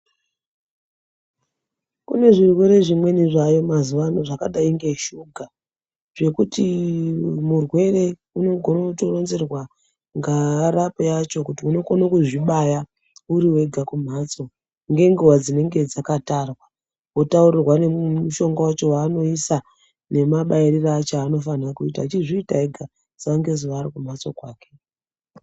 Kune zvirwere zvimweni zvayeyo mazuvaano zvakadai ngeshuga ,zvekuti murwere unotounzirwa ngaarape yacho kuti unokone kuzvibaya uriwega kumhatso ngenguva dzinenge dzakatarwa ,wotaurirwa nemishonga wacho waanoisa nemabayiro acho aanofanira kuita achizviita ega sanike ariku mhatso kwake.